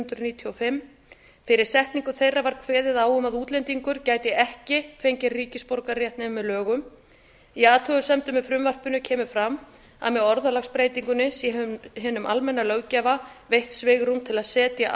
hundruð níutíu og fimm fyrir setningu þeirra var kveðið á um að útlendingur gæti ekki fengið ríkisborgararétt nema með lögum í athugasemdum með frumvarpinu kemur fram að með orðalagsbreytingunni sé hinum almenna löggjafa veitt svigrúm til að setja